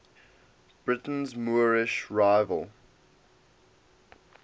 britain's moorish revival